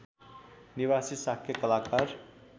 निवासी शाक्य कलाकार